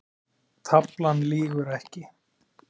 Taflan lýgur ekki